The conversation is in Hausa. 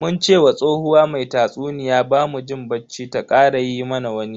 Mun ce wa tsohuwa mai tatsuniya bamu jin bacci ta kara yi mana wani.